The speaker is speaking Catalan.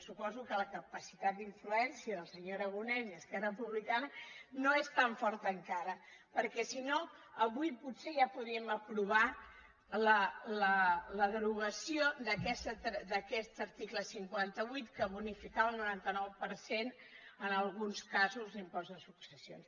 suposo que la capacitat d’influència del senyor aragonès i esquerra republicana no és tan forta encara perquè si no avui potser ja podríem aprovar la derogació d’aquest article cinquanta vuit que bonificava al noranta nou per cent en alguns casos l’impost de successions